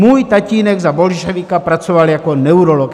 Můj tatínek za bolševika pracoval jako neurolog.